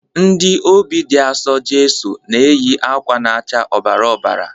Ndị Obị dị Asọ Jeso na-eyi akwa na-acha ọbara ọbara.